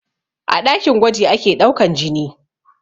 A ɗakin gwaji ake ɗaukan jini